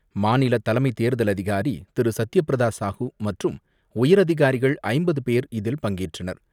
மாநிலத் தலைமைத் தேர்தல் அதிகாரி திரு சத்யபிரத சாஹூ மற்றும் உயரதிகாரிகள் ஐம்பது பேர் இதில் பங்கேற்றனர்.